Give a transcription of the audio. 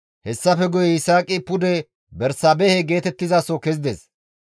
Hessafe guye Yisaaqi pude Bersaabehe geetettizaso kezides.